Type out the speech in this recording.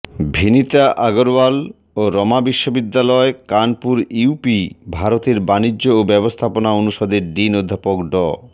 ভিনিতা আগারওয়াল ও রমা বিশ্ববিদ্যালয় কানপুর ইউপি ভারতের বাণিজ্য ও ব্যবস্থাপনা অনুষদের ডিন অধ্যাপক ড